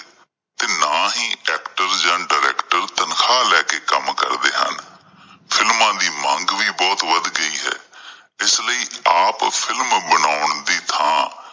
ਤੇ ਨਾਂ ਹੀ ਐਕਟਰ ਜਾਣ ਡਾਇਰੈਕਟਰ ਤਨਖਾਹ ਲੈ ਕੇ ਕੰਮ ਕਰਦੇ ਹਨ। ਫਿਲਮਾਂ ਦੀ ਮੰਗ ਵੀ ਬਹੁਤ ਵੱਧ ਗਈ ਹੈ ਇਸ ਲਈ ਆਪ ਫਿਲਮ ਬਣਾਉਣ ਦੀ ਥਾਂ